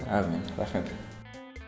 әумин рахмет